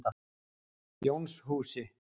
Jónshúsi